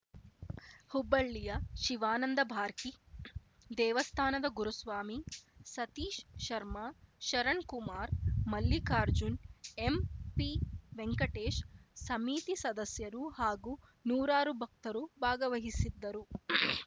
ಹುಬ್ಬಳಿಯ ಶಿವಾನಂದ ಬಾರ್ಕಿ ದೇವಸ್ಥಾನದ ಗುರುಸ್ವಾಮಿ ಸತೀಶ್‌ ಶರ್ಮ ಶರಣ್‌ ಕುಮಾರ್ ಮಲ್ಲಿಕಾರ್ಜುನ್‌ ಎಂಪಿ ವೆಂಕಟೇಶ್‌ ಸಮಿತಿ ಸದಸ್ಯರು ಹಾಗೂ ನೂರಾರು ಭಕ್ತರು ಭಾಗವಹಿಸಿದ್ದರು